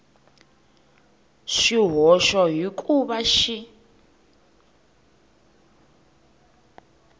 swihoxo hi ku va xi